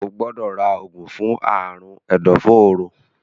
o gbódò rà oògùn fún Àrùn ẹdọforó.